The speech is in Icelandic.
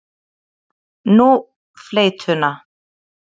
Nú, fleytuna.